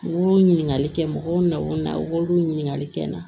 U b'o ɲininkali kɛ mɔgɔw nakun na u b'olu ɲininkali kɛ n na